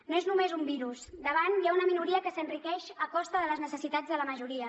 no és només un virus davant hi ha una minoria que s’enriqueix a costa de les necessitats de la majoria